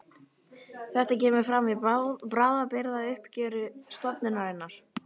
Þetta kemur fram í bráðabirgðauppgjöri stofnunarinnar